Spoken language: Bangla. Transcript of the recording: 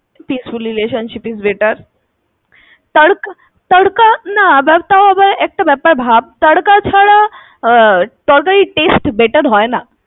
peaceful relationship is better. তর্ক ~ তরকা না আবার তাও আবার একটা ব্যাপার ভাব তরকা ছাড়া তরকারির taste better হয়না।